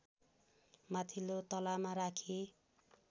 माथिल्लो तलामा राखी